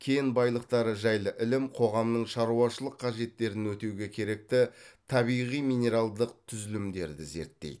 кен байлықтары жайлы ілім қоғамның шаруашылық қажеттерін өтеуге керекті табиғи минералдық түзілімдерді зерттейді